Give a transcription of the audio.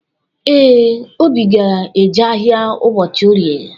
Ee, Obi ga-eje ahịa ụbọchi Orie.